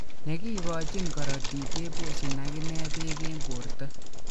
Negikogochin korotik keposyin agine pek en porto.